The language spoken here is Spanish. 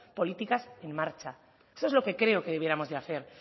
políticas en marcha eso es lo que creo que debiéramos de hacer